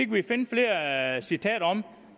kan finde flere citater om